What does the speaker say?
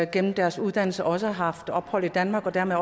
gennem deres uddannelse også har haft ophold i danmark og dermed